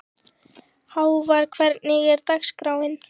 Hávar, hvernig er dagskráin?